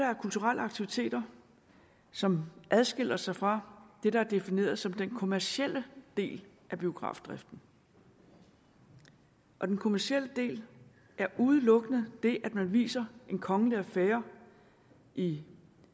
er kulturelle aktiviteter som adskiller sig fra det der er defineret som den kommercielle del af biografdriften og den kommercielle del er udelukkende det at man viser en kongelig affære i